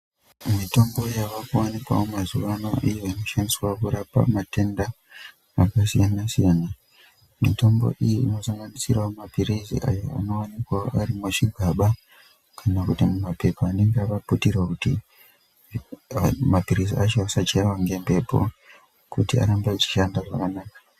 Mitombo yavakuwanikwavo mazuwano iyo inoshandiswa kurapa matenda akasiyana-siyana. Mitombo iyi inosanganisirawo maphirizi ayo anowanikwawo ari muzvigaba kana kuti mumaphepa anenge akaputirwa kuti maphirizi acho asachaiwa ngemhepo kuti arambe achishanda zvakanaka.